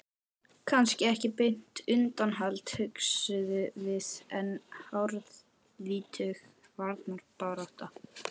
Kannski ekki beint undanhald, hugsuðum við, en harðvítug varnarbarátta.